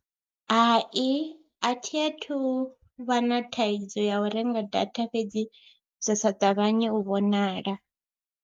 Hai a thi a thu vha na thaidzo ya u renga data fhedzi zwa sa ṱavhanyi u vhonala.